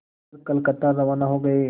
कर कलकत्ता रवाना हो गए